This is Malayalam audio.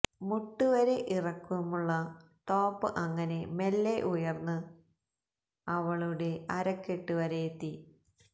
മുട്ട് വരെ ഇറക്കുമുള്ള ടോപ് അങ്ങനെ മെല്ലെ ഉയര്ന്ന് അവളുടെ അരക്കെട്ട് വരെയെത്തി